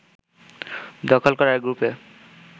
দখল করার গ্রুপে